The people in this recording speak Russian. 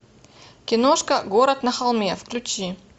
киношка город на холме включи